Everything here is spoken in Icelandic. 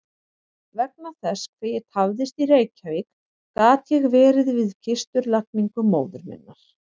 Vegna þess hve ég tafðist í Reykjavík gat ég verið við kistulagningu móður minnar.